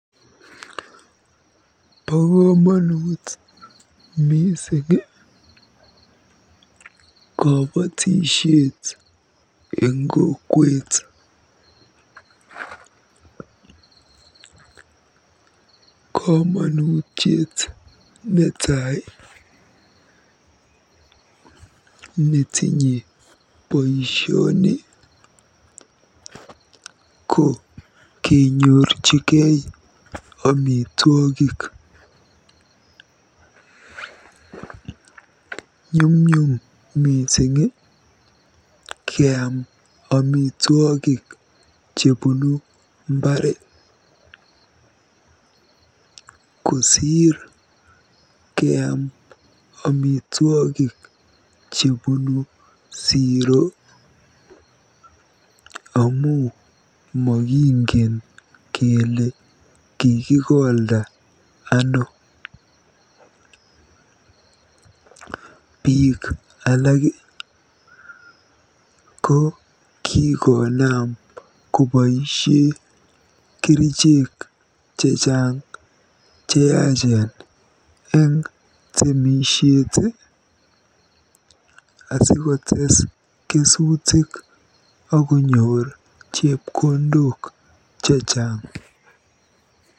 Bo komonut mising kobotishet eng kokwet. Komonutiet netai netinye boisioni ko kenyorjigei amitwogik. Nyumnyum mising keam amitwogik chebunu mbaar kosiir keam amitwogik chebunu siro amu mikingen kele kikikolda ano. Biik alak ko kikonaam koboisie kerichek chechang cheyachen eng temisiet aasikotees kesutik aakonyor chepkondok chechang.